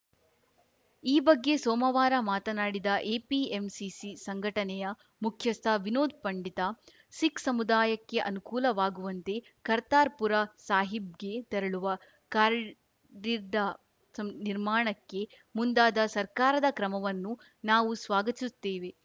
ಈ ಬಗ್ಗೆ ಸೋಮವಾರ ಮಾತನಾಡಿದ ಎಪಿಎಂಸಿಸಿ ಸಂಘಟನೆಯ ಮುಖ್ಯಸ್ಥ ವಿನೋದ್‌ ಪಂಡಿತಾ ಸಿಖ್‌ ಸಮುದಾಯಕ್ಕೆ ಅನುಕೂಲವಾಗುವಂತೆ ಕರ್ತಾರ್‌ಪುರ ಸಾಹಿಬ್‌ಗೆ ತೆರಳುವ ಕಾರ್ಡಿಡ್ಡಾಸಂ ನಿರ್ಮಾಣಕ್ಕೆ ಮುಂದಾದ ಸರ್ಕಾರದ ಕ್ರಮವನ್ನು ನಾವು ಸ್ವಾಗತಿಸುತ್ತೇವೆ